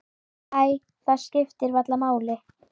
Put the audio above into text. Æ, það skiptir varla máli.